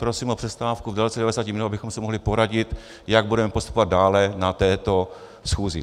Prosím o přestávku v délce 90 minut, abychom se mohli poradit, jak budeme postupovat dále na této schůzi.